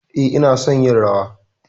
E, ina son yin rawa.